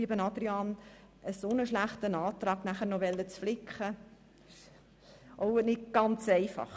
Lieber Adrian Haas, dann noch einen dermassen schlechten Antrag flicken zu wollen – das ist nicht ganz einfach.